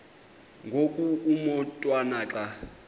ngoku umotwana xa